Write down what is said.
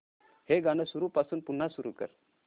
हे गाणं सुरूपासून पुन्हा सुरू कर